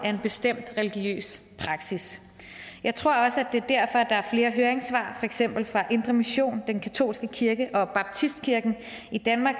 af en bestemt religiøs praksis jeg tror også at det er derfor der er flere høringssvar for eksempel fra indre mission den katolske kirke i danmark og baptistkirken i danmark